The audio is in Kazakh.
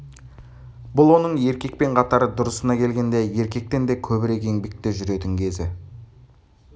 бұл оның еркекпен қатар дұрысына келгенде еркектен де көбірек еңбекте жүретін кезі